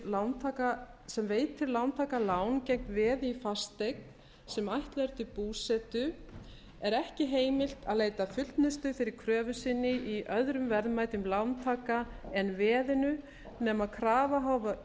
lánveitanda sem veitir lántaka lán gegn veði í fasteign sem ætlað er til búsetu er ekki heimilt að leita fullnustu fyrir kröfu sinni í öðrum verðmætum lántaka en veðinu nema krafa